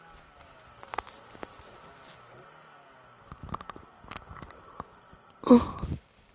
Að enn öðru.